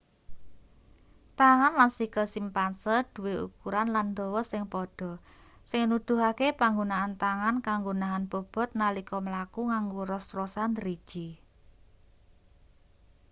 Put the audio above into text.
tangan lan sikil simpanse duwe ukuran lan dawa sing padha sing nuduhake panggunaan tangan kanggo nahan bobot nalika mlaku nganggo ros-rosan driji